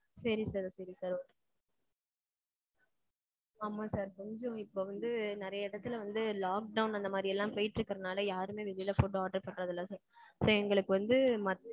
சேரி sir sorry sir ஆமாம் sir. கொஞ்சம் இப்ப வந்து நெறைய எடத்துல வந்து lockdown அந்த மாதிரி எல்லாம் போயிட்டு இருக்குற நால யாருமே வெளில food order பண்றதில்ல sir. இப்ப எங்களுக்கு வந்து